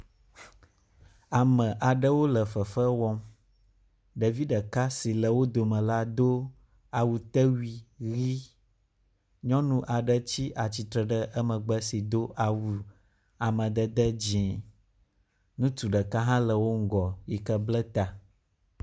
Ame aɖewo le fefe wɔm. Ɖevi ɖeka si le wo dome la do awutewui ʋi. nyɔnu aɖe tsi atsitre ɖe emegbe sii do awu amadede dzi. Ŋutsu ɖeka hã le wo ŋgɔ yi ke ble ta.